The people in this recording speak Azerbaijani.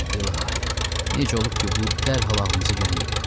İlahi, necə olub ki, bu dərhal ağlımıza gəlməyib?